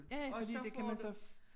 Ja ja fordi det kan man så